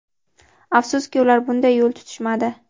Afsuski, ular bunday yo‘l tutishmadi.